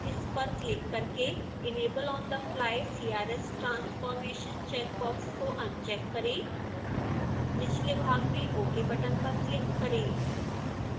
इस पर क्लिक करके enable on the fly crs transformation check box को अनचेक करें निचले भाग में ok बटन पर क्लिक करें